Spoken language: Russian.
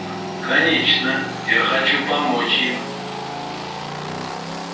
конечно я хочу помочь им